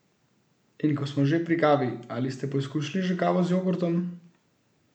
In ko smo že pri kavi, ali ste poizkusili že kavo z jogurtom?